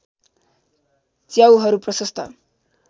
च्याउहरू प्रशस्त